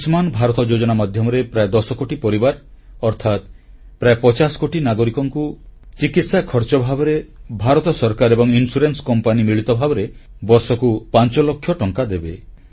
ଆୟୁଷ୍ମାନ ଭାରତ ଯୋଜନା ମାଧ୍ୟମରେ ପ୍ରାୟ 10 କୋଟି ପରିବାର ଅର୍ଥାତ୍ ପ୍ରାୟ 50 କୋଟି ନାଗରିକଙ୍କୁ ଚିକିତ୍ସା ଖର୍ଚ୍ଚ ଭାବରେ ଭାରତ ସରକାର ଏବଂ ବୀମା କମ୍ପାନୀ ମିଳିତ ଭାବରେ ବର୍ଷକୁ 5 ଲକ୍ଷ ଟଙ୍କା ଦେବେ